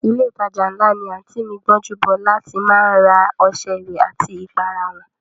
Ilé ìtajà ńlá ni àǹtí mi Gbọ́njúbọ́lá ti má ń ra ọṣẹ ìwẹ̀ àti ìpara wọn